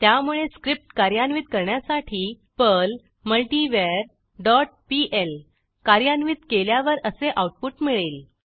त्यामुळे स्क्रिप्ट कार्यान्वित करण्यासाठी पर्ल मल्टीवर डॉट पीएल कार्यान्वित केल्यावर असे आऊटपुट मिळेल